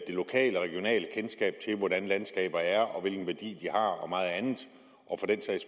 det lokale og regionale kendskab til hvordan landskaber er og hvilken værdi har og meget andet og